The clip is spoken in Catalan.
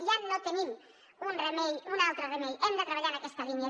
ja no tenim un altre remei hem de treballar en aquesta línia